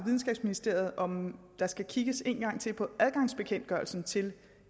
videnskabsministeriet om der skal kigges en gang til på adgangsbekendtgørelsen til